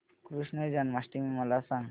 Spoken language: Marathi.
कृष्ण जन्माष्टमी मला सांग